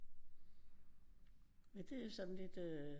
Men det jo sådan lidt øh